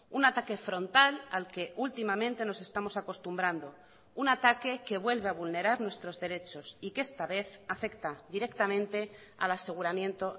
un ataque frontal al que últimamente nos estamos acostumbrando un ataque que vuelve a vulnerar nuestros derechos y que esta vez afecta directamente al aseguramiento